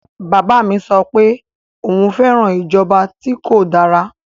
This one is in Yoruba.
Bàbá mi sọ pé òun fẹ́ràn ìjọba tí kò dára.